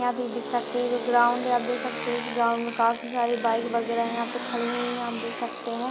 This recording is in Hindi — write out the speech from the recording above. यहाँ पे देख सकते हैं जो ग्राउंड है आप देख सकते हैं इस ग्राउंड में काफी सारे बाइक वगेरह यहाँ पर खड़े हुए हैं आप देख सकते हैं।